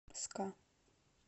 ска